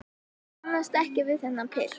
Hún kannast ekki við þennan pilt.